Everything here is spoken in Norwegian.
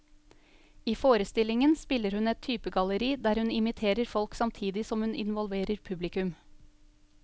I forestillingen spiller hun et typegalleri der hun imiterer folk samtidig som hun involverer publikum.